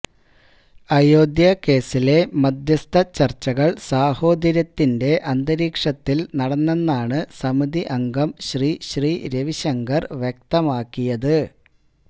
അയോധ്യ കേസിലെ മധ്യസ്ഥ ചർച്ചകൾ സാഹോദര്യത്തിൻറെ അന്തരീക്ഷത്തിൽ നടന്നെന്നാണ് സമിതി അംഗം ശ്രീശ്രീ രവിശങ്കർ വ്യക്തമാക്കിയത്